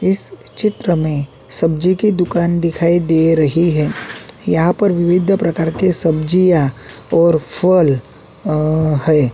इस चित्र में सब्जी की दुकान दिखाई दे रही है यहां पर विविद प्रकार के सब्जियां और फल हैं।